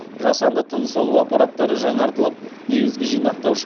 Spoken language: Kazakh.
жасанды тыныс алу аппараттары жаңартылып негізгі жинақтаушы